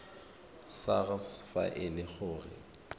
sars fa e le gore